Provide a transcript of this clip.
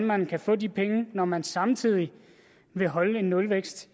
man vil få de penge når man samtidig vil holde en nulvækst